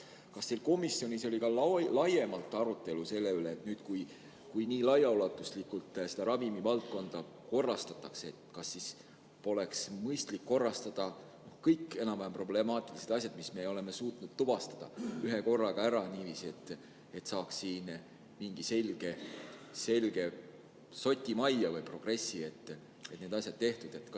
Kas teil komisjonis oli laiemalt arutelu selle üle, et kas nüüd, kui nii laiaulatuslikult ravimivaldkonda korrastatakse, poleks mõistlik korrastada kõik enam-vähem problemaatilised asjad, mida me oleme suutnud tuvastada, ühekorraga ära, et saaks siin mingi selge soti majja või tekiks progress, et need asjad oleksid tehtud?